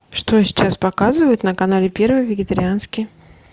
что сейчас показывают на канале первый вегетарианский